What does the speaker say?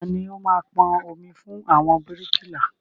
Tani ó máa pọn omi fún àwọn bíríkìlà?